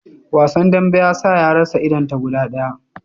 Wasan dambe ya sa ya rasa idon ta guda daya